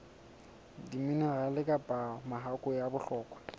diminerale kapa mahakwe a bohlokwa